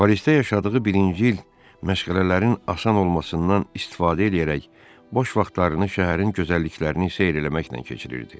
Parisdə yaşadığı birinci il məşğələlərin asan olmasından istifadə eləyərək boş vaxtlarını şəhərin gözəlliklərini seyr eləməklə keçirirdi.